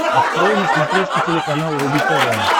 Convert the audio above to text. открой на смотрешке телеканал рубль тв